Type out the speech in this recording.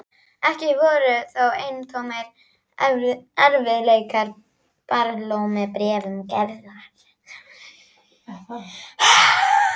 Ekki voru þó eintómir erfiðleikar og barlómur í bréfum Gerðar.